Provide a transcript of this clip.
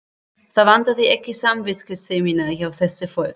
Það vantaði ekki samviskusemina hjá þessu fólki.